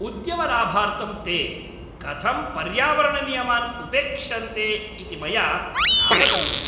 उद्यमलाभार्थं ते कथं पर्यावरणनियमान् उपेक्षन्ते इति मया नावगम्यते।